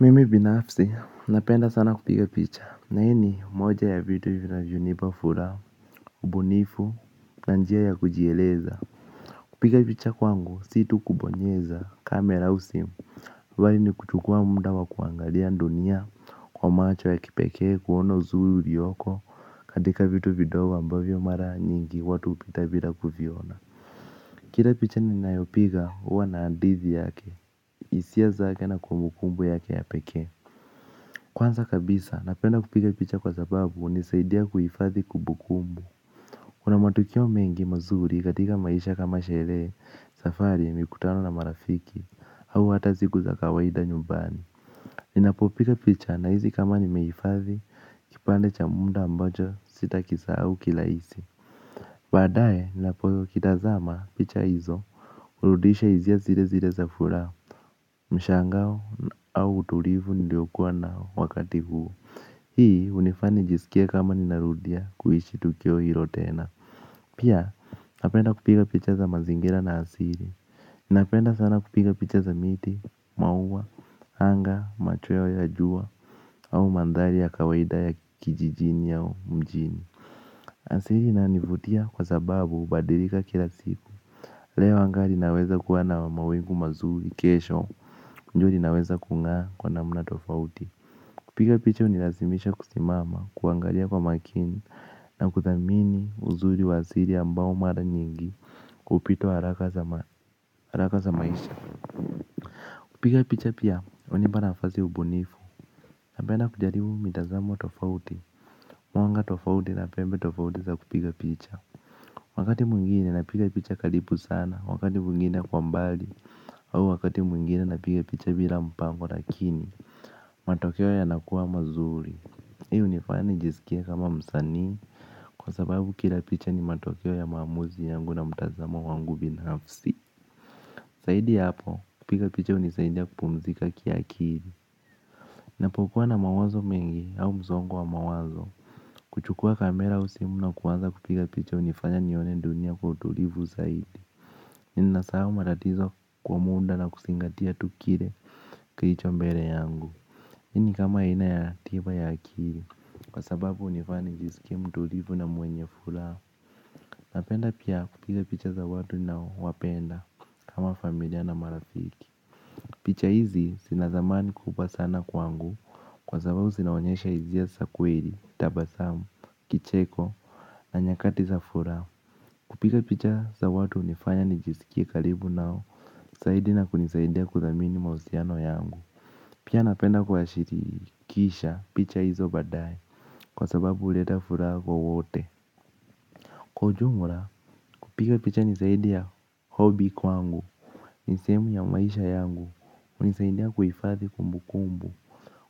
Mimi binafsi, napenda sana kupiga picha. Na hii ni, moja ya vitu vinavyonipa furaha ubunifu. Kupiga picha kwangu, situ kubonyeza, kamera u simu. Bali ni kuchukua muda wa kuangalia dunia, kwa macho ya kipeke, kuona uzuri ulioko, katika vitu vidogo ambavyo mara nyingi, watu hupita bila kuviona. Kila picha ninayo piga, huwa na hadithi yake, hisia zake na kumbukumbu yake ya pekee. Kwanza kabisa, napenda kupiga picha kwa sababu hunisaidia kuhifadhi kumbukumbu. Kuna matukio mengi mazuri katika maisha kama sherehe, safari, mikutano na marafiki. Au hata siku za kawaida nyumbani. Ninapo piga picha nahisi kama nimehifadhi kipande cha muda ambacho sitakisahau kirahisi baadae ninapo zitazama picha hizo hurudisha hisia zilezile za furaha mshangao au utulivu niliokua nao wakati huu hii hunifanya nijiskie kama nina rudia kuishi tukio hilo tena. Pia napenda kupiga picha za mazingira na asili napenda sana kupiga picha za miti maua anga machweo ya jua au mandhari ya kawaida ya kijijini au mjini. Asili inanivutia kwa sababu hubadilika kila siku. Leo anga linaweza kuwa na mawingu mazuri kesho jua linaweza kung'aa kwa namna tofauti. Kupiga picha hunilazimisha kusimama, kuangalia kwa makini, na kuthamini uzuri wa asili ambao mara nyingi hupitwa haraka za maisha. Kupiga picha pia, hunipa nafasi ubunifu. Napenda kujaribu mitazamo tofauti, mwanga tofauti na pembe tofauti za kupiga picha. Wakati mwingine napiga picha karibu sana, wakati mwingine kwa mbali, au wakati mwingine napiga picha bila mpango lakini, matokeo yanakua mazuri. Hii hunifanya nijisikie kama msanii, kwa sababu kila picha ni matokeo ya maamuzi yangu na mtazamo wangu binafsi. Zaidi ya hapo, kupiga picha hunisaidia kupumzika kiakili. Ninapo kuwa na mawazo mengi au msongo wa mawazo. Kuchukua kamera au simuna kuanza kupiga picha hunifanya nione dunia kwa utulivu zaidi. Ninasaha matatizo kwa muda na kuzingatia tu kile kilicho mbele yangu. Hii ni kama ina ya tiba ya akili kwa sababu hunifanya jisikie mtulivu na mwenye furaha. Napenda pia kupiga picha za watu ninao wapenda kama familia na marafiki. Picha hizi zina thamani kubwa sana kwangu kwa sababu zinaonyesha hizia za kweli, tabasamu, kicheko na nyakati za furaha. Kupiga picha za watu hunifanya nijisikie karibu nao zaidi na kunisaidia kuthamini mahusiano yangu. Pia napenda kuwashirikisha picha hizo badae kwa sababu huleta furaha kwa wote. Kwa ujumla kupiga picha ni zaidi ya hobi kwangu. Ni sehemu ya maisha yangu hunisaidia kuhifadhi kumbukumbu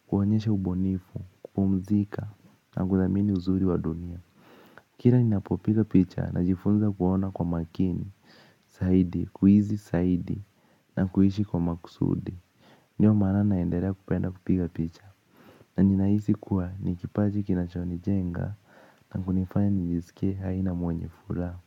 kuonyesha ubunifu kupumzika na kuthamini uzuri wa dunia. Kila ninapo piga picha ninajifunza kuona kwa makini zaidi, kuhisi zaidi na kuishi kwa makusudi. Ndio maana naendelea kupenda kupiga picha. Na nina hisi kuwa ni kipaji kinachoni jenga na kunifanya nijisikie hai na mwenye furaha.